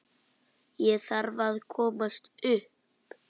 Ég þarf að komast upp.